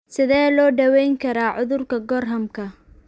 Sidee loo daweyn karaa cudurka Gorhamka?